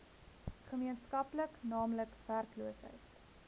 gemeenskaplik naamlik werkloosheid